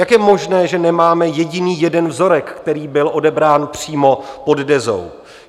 Jak je možné, že nemáme jediný jeden vzorek, který byl odebrán přímo pod Dezou?